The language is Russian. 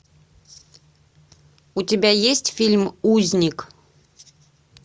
у тебя есть фильм узник